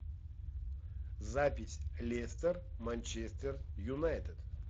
запись лестер манчестер юнайтед